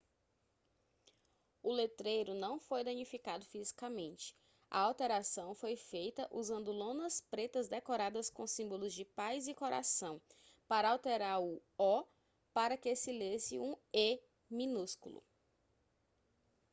o letreiro não foi danificado fisicamente a alteração foi feita usando lonas pretas decoradas com símbolos de paz e coração para alterar o o para que se lesse um e minúsculo